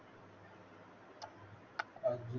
आलजीत